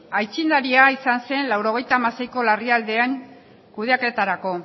aitzindaria izan zen mila bederatziehun eta laurogeita hamaseiko larrialdian kudeaketarako